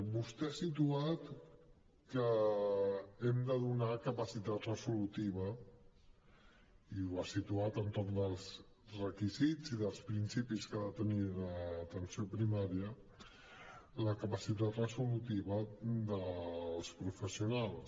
vostè ha situat que hem de donar capacitat resolutiva i ho ha situat entorn dels requisits i dels principis que ha de tenir l’atenció primària la capacitat resolutiva dels professionals